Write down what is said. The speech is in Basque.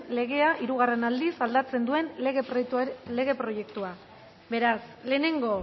legea hirugarren aldiz aldatzen duen lege proiektua beraz lehenengo